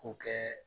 K'o kɛ